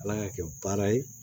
Ala y'a kɛ baara ye